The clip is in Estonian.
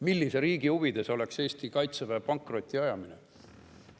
Millise riigi huvides oleks Eesti kaitseväe pankrotti ajamine?